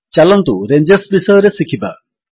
ଚାଲନ୍ତୁ ରେଞ୍ଜ ବିଷୟରେ ଶିଖିବା